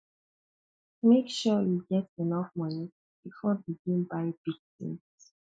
make sure you get enough money before begin buy big tins